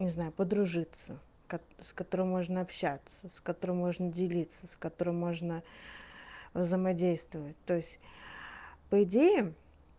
не знаю подружиться с которым можно общаться с которым можно делиться с которой можно взаимодействовать то есть по идее